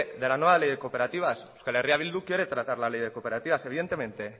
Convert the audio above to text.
de la nueva ley de cooperativas euskal herria bildu quiere tratar la ley de cooperativas evidentemente